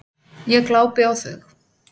Ég glápi á þau.